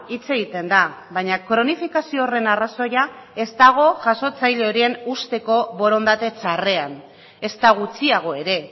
hitz egiten da baina kronifikazio horren arrazoia ez dago jasotzaile horien usteko borondate txarrean ezta gutxiago ere